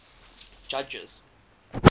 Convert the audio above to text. judges